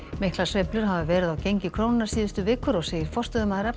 miklar sveiflur hafa verið á gengi krónunnar síðustu vikur og segir forstöðumaður